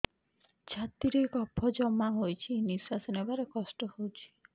ଛାତିରେ କଫ ଜମା ହୋଇଛି ନିଶ୍ୱାସ ନେବାରେ କଷ୍ଟ ହେଉଛି